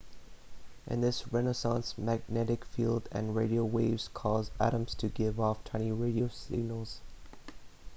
in this resonance magnetic field and radio waves cause atoms to give off tiny radio signals